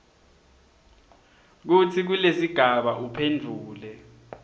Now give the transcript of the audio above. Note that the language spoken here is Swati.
kutsi kulesigaba uphendvule